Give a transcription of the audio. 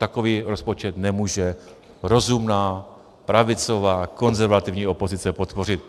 Takový rozpočet nemůže rozumná pravicová konzervativní opozice podpořit.